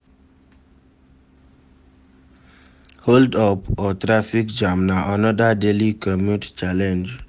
Hold up or traffic jam na another daily commute challenge